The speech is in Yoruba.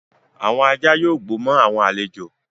Awọn ajá yóò gbó mo awọn alẹ́jo